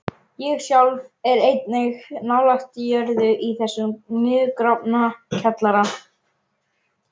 Ég sjálf er einnig nálægt jörðu í þessum niðurgrafna kjallara.